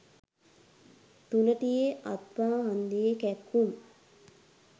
තුනටියෙ අත්පා හන්දියෙ කැක්කුම්